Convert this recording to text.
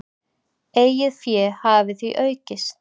Eigið fé hafi því aukist.